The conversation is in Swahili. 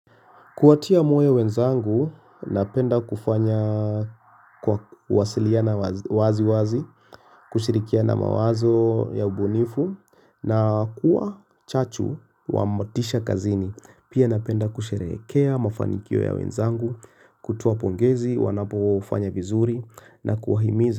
Kuwatia moyo wenzangu, napenda kufanya kwa wasiliana wazi wazi, kushirikiana mawazo ya ubunifu, na kuwa chachu wamotisha kazini. Pia napenda kusherekea mafanikio ya wenzangu, kutoa pongezi, wanapofanya vizuri, na kuwahimiza.